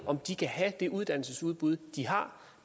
om de kan have det uddannesudbud de har